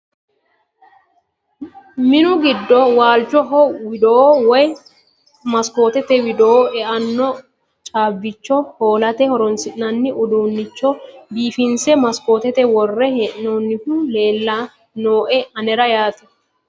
Minu giddo waalichoho widoo woyi maskootete widoo e"anno caabbicho hoolate horonsi'nanni udiinicho biifinse masikootete worre hee'noyihu leella nooe anera yaate.